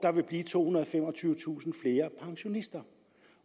vil blive tohundrede og femogtyvetusind flere pensionister